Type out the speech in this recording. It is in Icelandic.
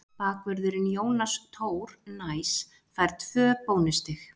Bakvörðurinn Jónas Tór Næs fær tvö bónusstig.